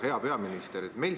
Hea peaminister!